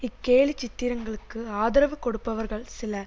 இக்கேலிச்சித்திரங்களுக்கு ஆதரவு கொடுப்பவர்கள் சில